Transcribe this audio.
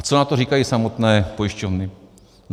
A co na to říkají samotné pojišťovny?